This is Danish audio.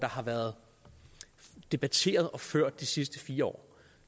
har været debatteret de sidste fire år